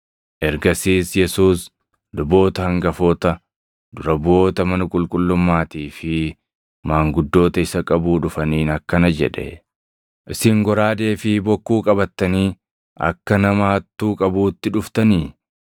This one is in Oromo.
Ergasiis Yesuus luboota hangafoota, dura buʼoota mana qulqullummaatii fi maanguddoota isa qabuu dhufaniin akkana jedhe; “Isin goraadee fi bokkuu qabattanii akka nama hattuu qabuutti dhuftanii?